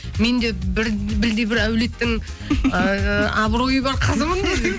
мен де бір білдей бір әулеттің ыыы абыройы бар қызымын